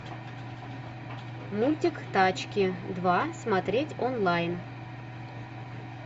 мультик тачки два смотреть онлайн